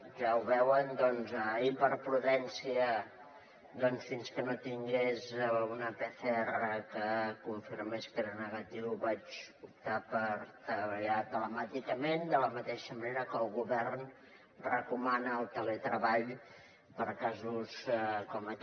ja ho veuen doncs ahir per prudència fins que no tingués una pcr que confirmés que era negatiu vaig optar per treballar telemàticament de la mateixa manera que el govern recomana el teletreball per casos com aquest